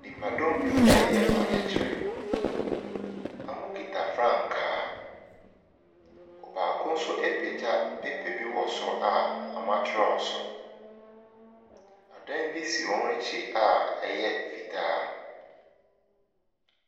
Nipadɔm bi reyɛ ɔyɛkyerɛ. Wɔkita frankaa. Ɔbaako nso apagya paper bi wɔ soro a wɔatwerɛ so. Adan bi si wɔn akyi a ɛyɛ fitaa.